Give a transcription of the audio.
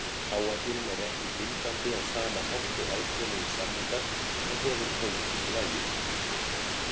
Áætlunin er ekki bindandi á sama hátt og alþjóðlegir samningar en hefur pólitískt vægi.